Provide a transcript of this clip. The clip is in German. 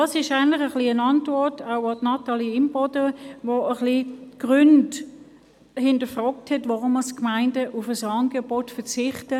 Das ist eigentlich auch eine Antwort an Natalie Imboden, welche die Gründe hinterfragt hat, weshalb manche Gemeinden auf ein Angebot verzichten.